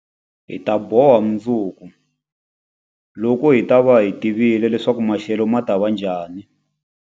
Hi ta boha mundzuku, loko hi ta va hi tivile leswaku maxelo ma ta va njhani.